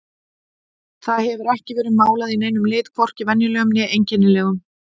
Það hefur ekki verið málað í neinum lit, hvorki venjulegum né einkennilegum.